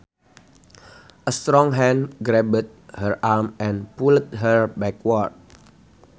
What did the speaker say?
A strong hand grabbed her arm and pulled her backward